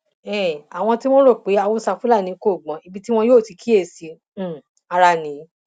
um àwọn tí wọn ń rò pé haúsá fúlàní kò gbọn ibi tí wọn yóò ti kíyèsí um ara nìyí